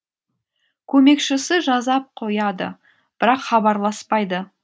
көмекшісі жазап қояды бірақ хабарласпайды